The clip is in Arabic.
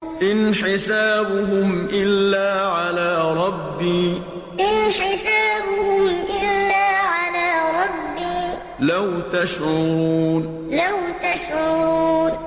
إِنْ حِسَابُهُمْ إِلَّا عَلَىٰ رَبِّي ۖ لَوْ تَشْعُرُونَ إِنْ حِسَابُهُمْ إِلَّا عَلَىٰ رَبِّي ۖ لَوْ تَشْعُرُونَ